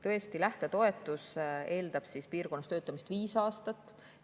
Tõesti, lähtetoetus eeldab piirkonnas töötamist 5 aastat.